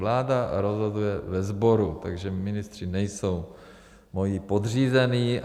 Vláda rozhoduje ve sboru, takže ministři nejsou moji podřízení.